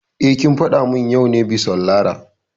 Eh, kin faɗa mun yau ne bison Lara